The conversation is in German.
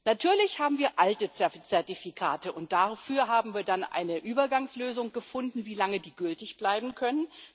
Natürlich haben wir alte Zertifikate, und dafür haben wir dann eine Übergangslösung gefunden, wie lange die gültig bleiben können.